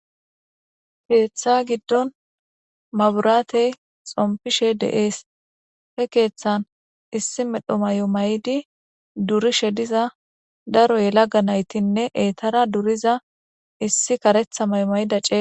keeththa giddon maburaatey xompishe de7ees he keeththan issi medho may7o may7di durishe diza daro yelaga naytinne eetara duriza issi karetha may7o mayida cee